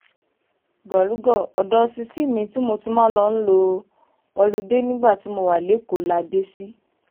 gòlùgò odò ṣíṣí mi tí mo ti máa ń lọọ́ lọ olùde nígbà tí mo wà lẹ́kọ̀ọ́ la dé sí